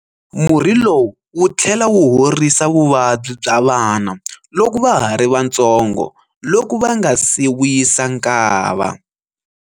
Murhi lowu wu tlhela wu horisa vuvabyi bya vana loko va ha ri vantsongo loko va nga si wisa nkava.